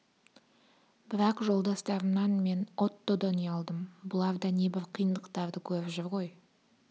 бірақ жолдастарымнан мен оттодан ұялдым бұлар да небір қиындықтарды көріп жүр ғой